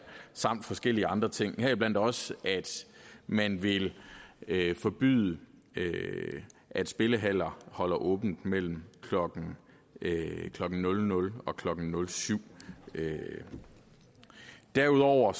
samt forskellige andre ting heriblandt også at man vil vil forbyde at spillehaller holder åbent mellem klokken nul nul og klokken nul syv derudover